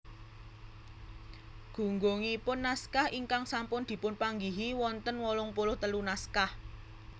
Gunggungipun naskah ingkang sampun dipunpanggihi wonten wolung puluh telu naskah